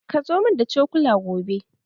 Kazo mun da cokula gobe.